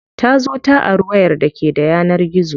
Ta zo ta ari wayar da ke da yanar gizo.